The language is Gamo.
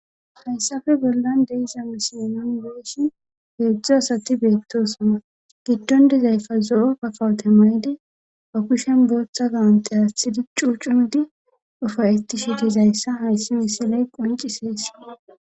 Fayssafe bollan deiza misiynon beeshi peedzdzo asati beettosoma giddon dizayfa zo7o pakawute meedi ba kushen boohtxa zawunte athidi cuu cudi ufa7eti shitizayssa hayssi misiley qonci seesi